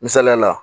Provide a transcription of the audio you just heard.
Misaliya la